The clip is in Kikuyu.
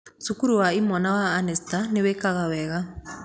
Cukuru wa imwana wa Anestar nĩwĩĩkaga wega